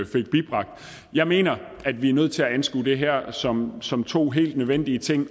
fik bibragt jeg mener at vi er nødt til at anskue det her som som to helt nødvendige ting